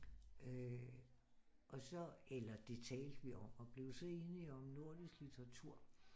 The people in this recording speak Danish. Og så eller det talte vi om og blev så enige om nordisk litteratur